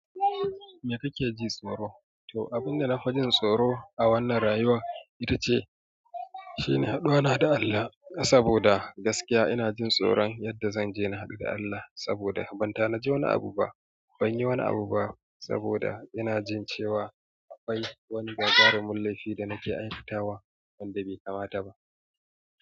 Me kake ji tsoro? To, abin da na fi jin tsoro a wannan rayuwa ita ce, shine haduwana da Allah. Saboda gaskiya ina jin tsoron yadda zan je na haɗu da Allah. Saboda ban ta na ji wani abu ba, ban yi wani abu ba. Saboda ina jin cewa akwai wani gagarumin laifi da nake aikatawa wanda bai kamata ba.